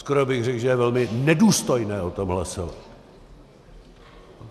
Skoro bych řekl, že je velmi nedůstojné o tom hlasovat.